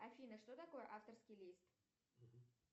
афина что такое авторский лист